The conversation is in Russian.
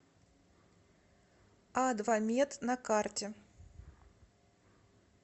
адвамед на карте